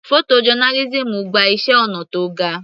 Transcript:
Photo journalism gba iṣẹ́ ọnà tó ga.